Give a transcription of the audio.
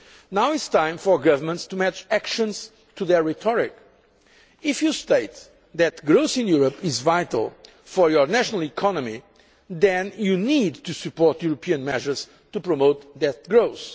level. Now is the time for governments to match actions to their rhetoric if you state that growth in Europe is vital for your national economy then you need to support European measures to promote that growth.